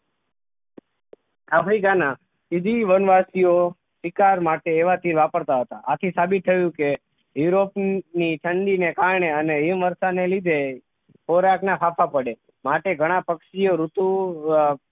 Africa ના સીધી વનવાસીઑ શિકાર માટે એવા તીર વાપરતા હતા આથી સાબિત થયું કે યુરોપની ઠંડીને કારણે અને હિમવર્ષા ને લીધે સૌરાસ્ટ્ર ના હાફા પડે માટે ઘણા પક્ષી ઑ ઋતુ